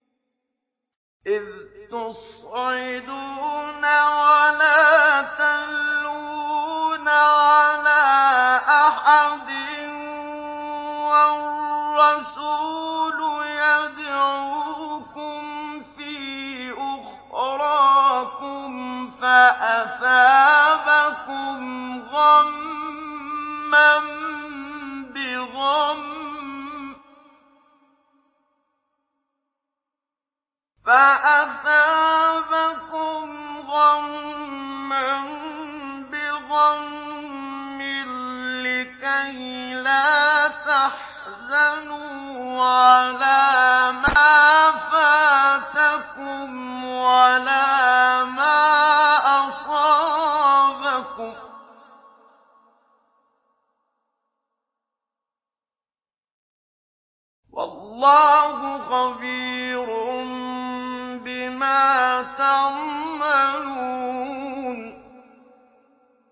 ۞ إِذْ تُصْعِدُونَ وَلَا تَلْوُونَ عَلَىٰ أَحَدٍ وَالرَّسُولُ يَدْعُوكُمْ فِي أُخْرَاكُمْ فَأَثَابَكُمْ غَمًّا بِغَمٍّ لِّكَيْلَا تَحْزَنُوا عَلَىٰ مَا فَاتَكُمْ وَلَا مَا أَصَابَكُمْ ۗ وَاللَّهُ خَبِيرٌ بِمَا تَعْمَلُونَ